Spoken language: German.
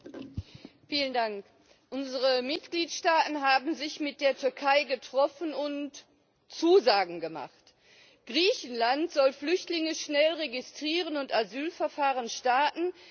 Frau Präsidentin! Unsere Mitgliedstaaten haben sich mit der Türkei getroffen und Zusagen gemacht. Griechenland soll Flüchtlinge schnell registrieren und Asylverfahren starten.